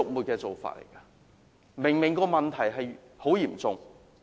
"假難民"的問題明明很嚴重。